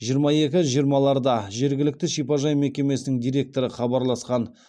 жиырма екі жиырмаларда жергілікті шипажай мекемесінің директоры хабарласқан